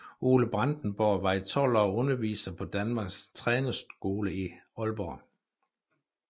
Ole Brandenborg var i 12 år underviser på Danmarks Trænerskole i Aalborg